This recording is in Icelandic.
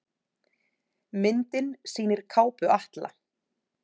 Myndin sýnir kápu Atla.